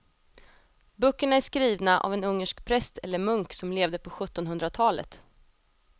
Böckerna är skrivna av en ungersk präst eller munk som levde på sjuttonhundratalet.